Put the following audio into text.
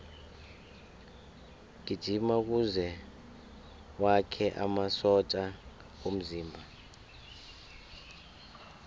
gijima kuze wakhe amasotja womzimba